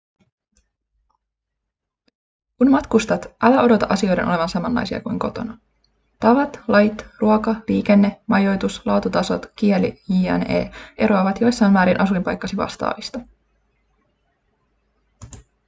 kun matkustat älä odota asioiden olevan samanlaisia kuin kotona tavat lait ruoka liikenne majoitus laatutasot kieli jne eroavat jossain määrin asuinpaikkasi vastaavista